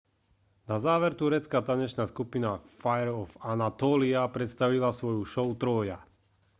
na záver turecká tanečná skupina fire of anatolia predstavila svoju show trója